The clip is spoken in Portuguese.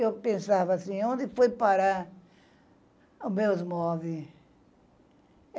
Eu pensava assim, onde foi parar os meus móveis?